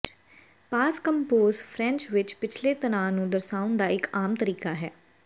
ਪਾਸ composé French ਵਿੱਚ ਪਿਛਲੇ ਤਣਾਅ ਨੂੰ ਦਰਸਾਉਣ ਦਾ ਇੱਕ ਆਮ ਤਰੀਕਾ ਹੈ